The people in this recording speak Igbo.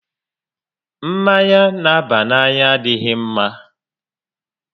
Mmanya n'àbá n'anya adịghị ḿmá